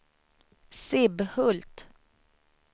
Sibbhult